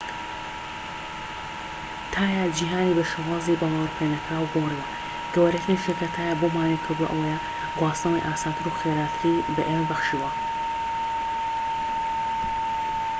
تایە جیھانی بە شێوازی باوەڕپێنەکراو گۆڕیوە گەورەترین شت کە تایە بۆمانی کردووە ئەوەیە گواستنەوەی ئاسانتر و خێراتری بە ئێمە بەخشیوە